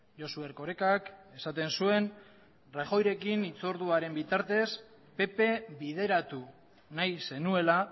josu erkorekak esaten zuen rajoyrekin hitz orduaren bitartez pp bideratu nahi zenuela